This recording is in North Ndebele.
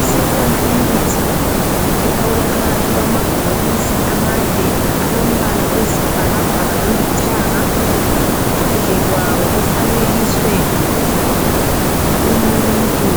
Isikhona imithi efakwe phakathi kwamabhokisi amade alombala oyisibhakabhaka lolithanga, phandle kwawo kufanekiswe umuntu